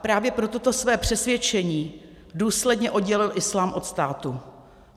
A právě pro toto své přesvědčení důsledně oddělil islám od státu.